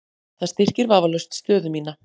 Það styrkir vafalaust stöðu mína.